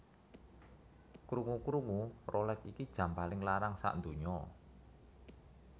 Krungu krungu Rolex iki jam paling larang sakdunya